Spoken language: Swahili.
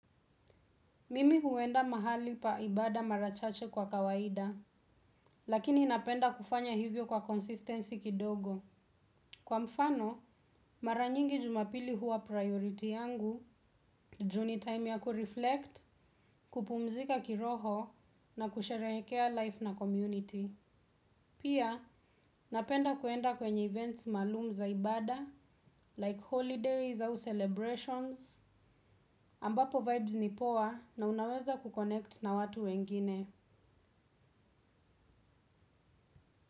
Mimi huenda mahali pa ibada mara chache kwa kawaida, lakini napenda kufanya hivyo kwa consistency kidogo. Kwa mfano, mara nyingi jumapili huwa priority yangu, ju ni time ya kureflect, kupumzika kiroho, na kusherehekea life na community. Pia, napenda kuenda kwenye events maalum za ibada, like holidays au celebrations, ambapo vibes ni poa na unaweza kukonect na watu wengine.